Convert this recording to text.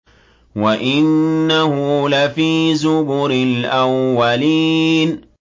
وَإِنَّهُ لَفِي زُبُرِ الْأَوَّلِينَ